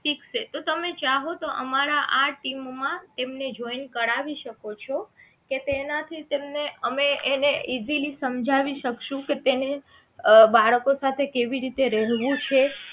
ઠીક છે તો તમે ચાહો તો અમારા ટીમ માં એમને joint કરાવી શકો છો કે તેના થી તેમને અમે એને easily સમજાવી શકશું કે એને અ બાળકો સાથે કેવી રીતે રહેવું છે